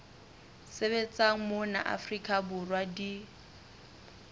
sebetsang mona afrika borwa di